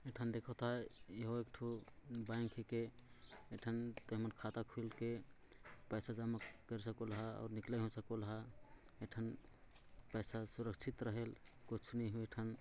एक ठन देखत आय एहो एक ठन बैंक के एक ठन पेमैंट खाता खुलके पैसे जमा कर सकुल ह और निकल सकूलहा एक ठन पैसा सुरक्षित रहे कुछ नई होए ए ठन--